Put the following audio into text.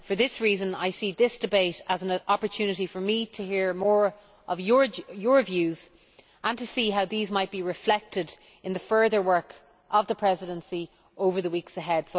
For this reason, I see this debate as an opportunity for me to hear more of your views and to see how these might be reflected in the further work of the Presidency over the weeks ahead.